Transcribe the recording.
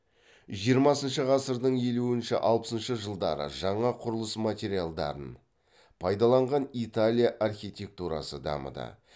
жиырмасыншы ғасырдың елуінші алпысыншы жылдары жаңа құрылыс материалдарын пайдаланған италия архитектурасы дамыды